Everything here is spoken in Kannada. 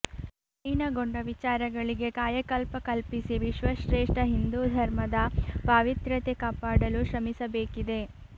ಮಲೀನಗೊಂಡ ವಿಚಾರಗಳಿಗೆ ಕಾಯಕಲ್ಪ ಕಲ್ಪಿಸಿ ವಿಶ್ವಶ್ರೇಷ್ಠ ಹಿಂದೂ ಧರ್ಮದ ಪಾವಿತ್ರ್ಯತೆ ಕಾಪಾಡಲು ಶ್ರಮಿಸಬೇಕಿದೆ